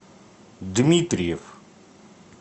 дмитриев